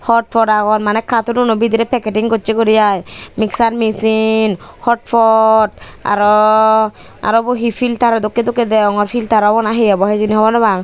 hot pot agon maney katonuno bidirey packeting gocchey guri aai miksar mesin hotpot aro arobo he filtero dokke dokke degongor filter obow na he obow hijeni hogor nopang.